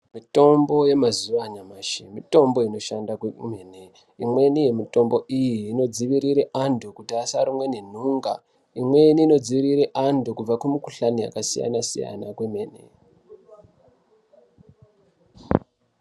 Mitombo yamazuva anyamashi mitombo inoshanda kwemene imweni yemitombo iyi inodzivirire andu kuti asarumwa nenhunga imweni inodzivirire andu kubve kumukuhlani yakasiyana siyana kwemene.